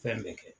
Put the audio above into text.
Fɛn bɛɛ kɛ